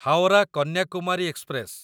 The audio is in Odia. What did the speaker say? ହାୱରା କନ୍ୟାକୁମାରୀ ଏକ୍ସପ୍ରେସ